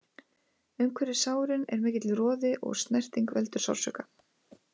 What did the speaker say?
Umhverfis sárin er mikill roði og snerting veldur sársauka.